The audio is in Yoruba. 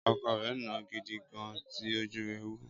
Ọkọ rẹ̀ nàá gidi gan, tí ojú rẹ wú.